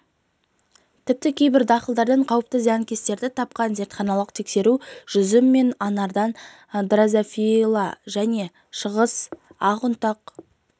тіпті кейбір дақылдардан қауіпті зиянкестерді тапқан зертханалық тексеру жүзім мен анардан дрозофила және шығыс ақ ұнтақ